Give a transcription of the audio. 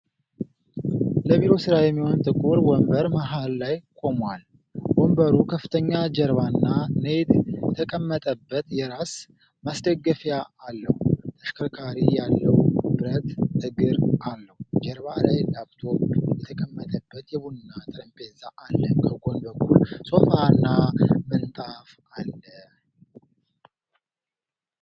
ለቢሮ ሥራ የሚሆን ጥቁር ወንበር መሃል ላይ ቆሟል። ወንበሩ ከፍተኛ ጀርባና ኔት የተቀመጠበት የራስ ማስደገፊያ አለው። ተሽከርካሪ ያለው ብረት እግር አለው። ጀርባ ላይ ላፕቶፕ የተቀመጠበት የቡና ጠረጴዛ አለ። ከጎን በኩል ሶፋና ምንጣፍ አለ።